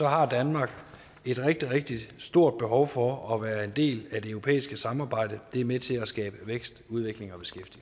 har danmark et rigtig rigtig stort behov for at være en del af det europæiske samarbejde det er med til at skabe vækst udvikling